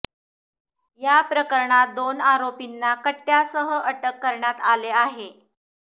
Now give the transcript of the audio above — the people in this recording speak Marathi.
या प्रकरणात दोन आरोपींना कट्ट्यासह अटक करण्यात आले आहे